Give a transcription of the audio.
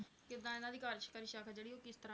ਕਾਰਜਕਾਰੀ ਸ਼ਾਖਾ ਆ ਉਹ ਕਿੱਦਾਂ